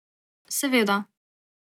Seveda.